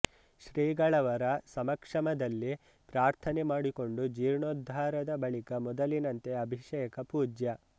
ಶ್ರೀಗಳವರ ಸಮಕ್ಷಮದಲ್ಲಿ ಪ್ರಾರ್ಥನೆ ಮಾಡಿಕೊಂಡು ಜೀರ್ಣೋದ್ಧಾರದ ಬಳಿಕ ಮೊದಲಿನಂತೆ ಅಭಿಷೇಕ ಪೂಜ್ಯ